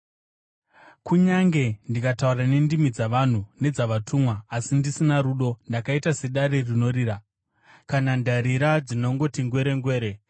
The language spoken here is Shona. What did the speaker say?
Kunyange ndikataura nendimi dzavanhu nedzavatumwa, asi ndisina rudo, ndakaita sedare rinorira kana ndarira dzinongoti ngwerengwere.